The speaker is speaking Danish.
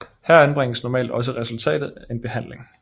Her anbringes normalt også resultatet af en behandling